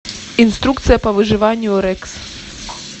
инструкция по выживанию рекс